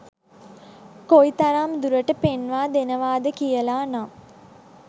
කොයි තරම් දුරට පෙන්වා දෙනවද කියලා නම්.